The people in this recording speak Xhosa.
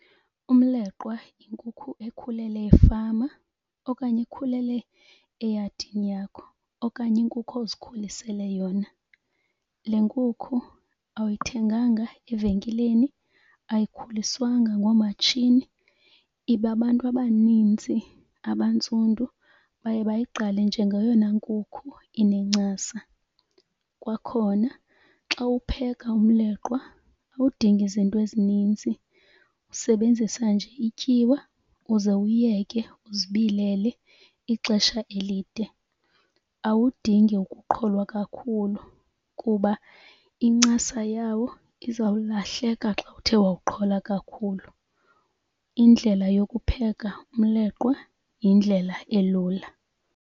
Umleqwa yinkukhu ekhulele efama okanye ekhulele eyadini yakho okanye inkukhu ozikhulisele yona. Le nkukhu awuyithenganga evenkileni, ayikhuliswanga ngoomatshini ibe abantu abaninzi abantsundu baye bayigqale njengeyona nkukhu inencasa. Kwakhona xa upheka umleqwa awudingi zinto ezininzi, usebenzisa nje ityiwa uze uwuyeke uzibilele ixesha elide. Awudingi ukuqholwa kakhulu kuba incasa yawo izawulahleka xa uthe wawuqhola kakhulu. Indlela yokupheka umleqwa yindlela elula.